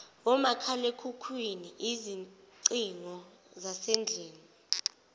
omakhalekhukhwini izingcingo zasendlini